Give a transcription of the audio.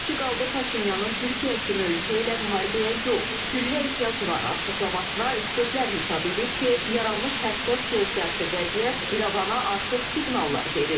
O ki qaldı Paşinyanın Türkiyə kimi ölkə ilə müharibəyə yox, sülhə ehtiyac var açıqlamasına, ekspertlər hesab edir ki, yaranmış həssas geosiyasi vəziyyət İrəvana artıq siqnallar verir.